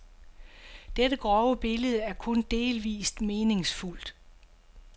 Dette grove billede er kun delvist meningsfuldt.